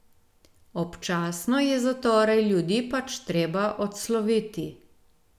Občasno je zatorej ljudi pač treba odsloviti.